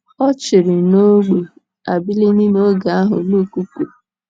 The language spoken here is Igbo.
Ọ chịrị n’ógbè Abilini n’oge ahụ Luk kwuru.